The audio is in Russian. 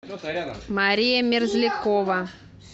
мария мерзлякова